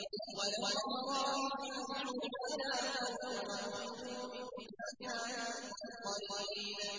وَلَوْ تَرَىٰ إِذْ فَزِعُوا فَلَا فَوْتَ وَأُخِذُوا مِن مَّكَانٍ قَرِيبٍ